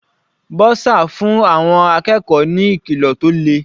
Bursar fún àwọn akẹ́kọ̀ọ́ ní ìkìlọ̀ tó le.